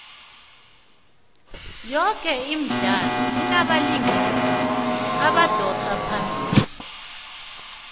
yoke imidlalo inabalingisi abadosa phambili